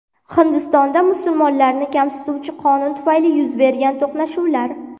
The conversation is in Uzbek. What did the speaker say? Hindistonda musulmonlarni kamsituvchi qonun tufayli yuz bergan to‘qnashuvlar.